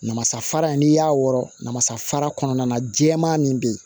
Namasafara in n'i y'a wɔrɔ namasafara kɔnɔna na jɛman min bɛ yen